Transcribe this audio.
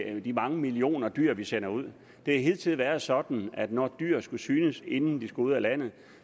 af de mange millioner dyr vi sender ud det har hidtil været sådan at når dyr skulle synes inden de skulle ud af landet